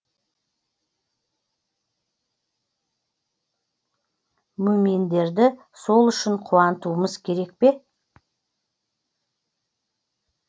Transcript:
мүъминдерді сол үшін қуантуымыз керек пе